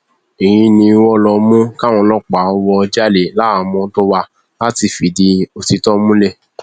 èyí ni wọn ló mú káwọn ọlọpàá wò ó jáde láhàámọ tó wá láti fìdí òtítọ múlẹ